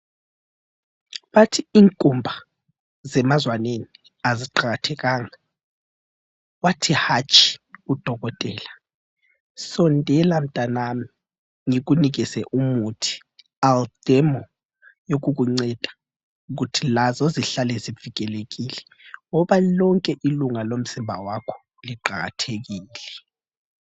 Bathi inkumba zemazwaneni aziqakathekanga ,wathi hatshi udokotela sondela mntanami ngikunikeze umuthi All Derma yokukunceda ukuthi lazo zihlale zivikelekile ngoba lonke ilunga lomzimba wakho liqakathekile .